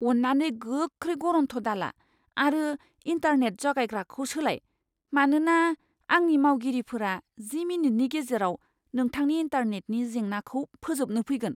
अन्नानै गोख्रै गरन्थ दाला आरो इन्टारनेट जगायग्राखौ सोलाय, मानोना आंनि मावगिरिफोरा जि मिनिटनि गेजेराव नोंथांनि इन्टारनेटनि जेंनाखौ फोजोबनो फैगोन।